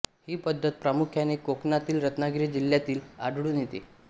ही पद्धत प्रामुख्याने कोकणातील रत्नागिरी जिल्ह्यात आढळून येते